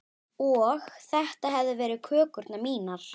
Og þetta hefðu verið kökurnar mínar.